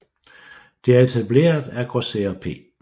Det er etableret af grosserer P